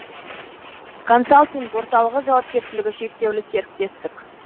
консалтинг орталығы жауапкершілігі шектеулі серіктестік